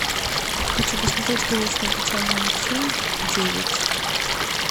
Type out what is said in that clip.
хочу посмотреть грустный печальный мультфильм девять